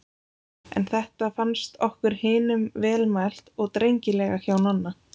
Þetta fannst okkur hinum vel mælt og drengilega hjá Nonna.